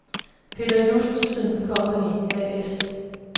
Peter Justesen Company A/S